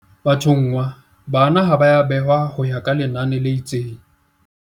Bathonngwa bana ha ba a behwa ho ya ka lenane le itseng.